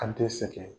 An tɛ sɛgɛn